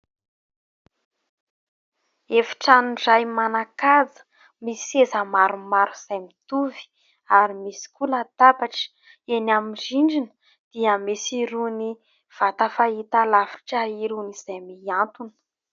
Efitrano iray manan-kaja misy seza maromaro izay mitovy ary misy koa latabatra. Eny amin'ny rindrina dia misy irony vata fahitalavitra irony izay miantona.